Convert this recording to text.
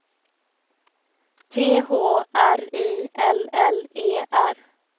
T H R I L L E R